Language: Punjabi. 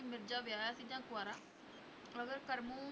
ਕਿ ਮਿਰਜ਼ਾ ਵਿਆਹਿਆ ਸੀ ਜਾਂ ਕੁਆਰਾ, ਅਗਰ ਕਰਮੂ